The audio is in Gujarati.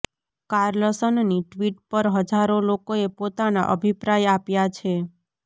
કાર્લસનની ટિ્વટ પર હજારો લોકોએ પોતાના અભિપ્રાય આપ્યા છે